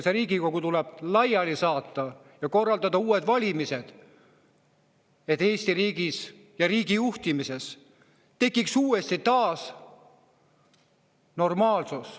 See Riigikogu tuleb laiali saata ja korraldada uued valimised, et Eesti riigis ja riigi juhtimises tekiks uuesti normaalsus.